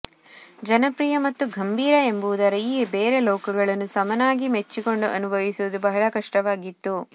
ಜನಪ್ರಿಯ ಮತ್ತು ಗಂಭೀರ ಎಂಬುದರ ಈ ಬೇರೆ ಲೋಕಗಳನ್ನು ಸಮಾನವಾಗಿ ಮೆಚ್ಚಿಕೊಂಡು ಅನುಭವಿಸುವುದು ಬಹಳ ಕಷ್ಟವಾಗಿತ್ತು